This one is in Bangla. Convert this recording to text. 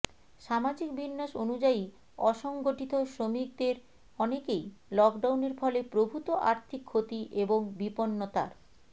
সামাজিক বিন্যাস অনুযায়ী অসংগঠিত শ্রমিকদের অনেকেই লকডাউনের ফলে প্রভূত আর্থিক ক্ষতি এবং বিপন্নতার